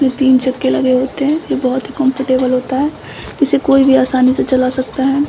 जो तीन चक्के लगे होते हैं यह बहुत ही कोम्फर्टेबल होता है इसे कोई भी आसानी से चला सकता है।